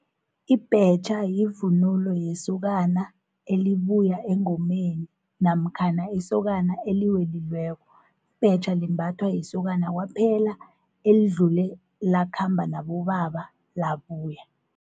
Ibhetjha yivunulo yesokana elibuya engomeni, namkhana isokana eliwelileko. Ibhetja limbathwa yisokana kwaphela elidlule lakhamba nabobaba labuya.